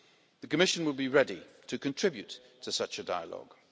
The Commission will be ready to contribute to such a dialogue.